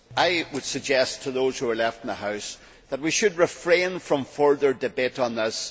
Mr President, I would suggest to those who are left in the House that we should refrain from further debate on this.